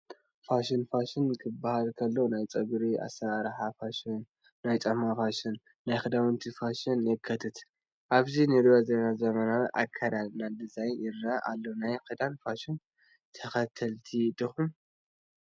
ፋሽን፡- ፋሽን ክባሃል ከሎ ናይ ጨጉሪ ኣሰራርሓ ፋሽን፣ ናይ ጫማ ፋሽን፣ ናይ ክዳውንቲ ፋሽንን የካትት፡፡ ኣብዚ ንሪኦ ዘለና ዘመናዊ ኣካደድና ዲዛይን ይረአ ኣሎ፡፡ ናይ ክዳን ፋሽን ተኸተልቲ ዲኹም?